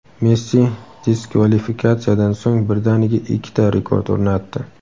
Messi diskvalifikatsiyadan so‘ng birdaniga ikkita rekord o‘rnatdi.